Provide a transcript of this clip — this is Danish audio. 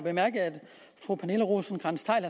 fru pernille rosenkrantz theil